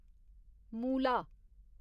मूला